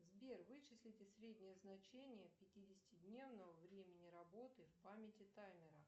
сбер вычислите среднее значение пятидесятидневного времени работы в памяти таймера